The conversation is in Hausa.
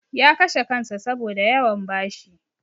Ya kashe kansa saboda yawan bashi.